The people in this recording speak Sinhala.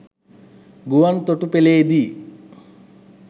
ගුවන් තොටුපළේදී